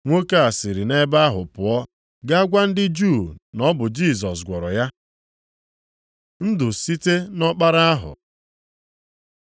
Nwoke a siri nʼebe ahụ pụọ gaa gwa ndị Juu na ọ bụ Jisọs gwọrọ ya. Ndụ site nʼọkpara ahụ